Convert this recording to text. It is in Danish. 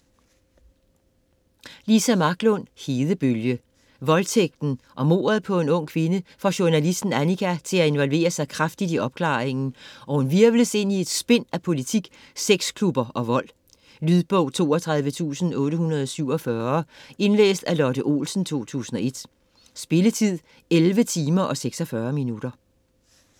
Marklund, Liza: Hedebølge Voldtægten og mordet på en ung kvinde får journalisten Annika til at involvere sig kraftigt i opklaringen, og hun hvirvles ind i et spind af politik, sexklubber og vold. Lydbog 32847 Indlæst af Lotte Olsen, 2001. Spilletid: 11 timer, 46 minutter.